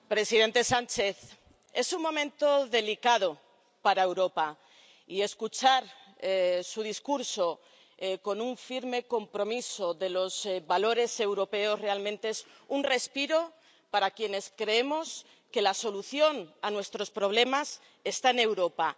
Señor presidente, presidente Sánchez, es un momento delicado para Europa, y escuchar su discurso con un firme compromiso de los valores europeos realmente es un respiro para quienes creemos que la solución a nuestros problemas está en Europa.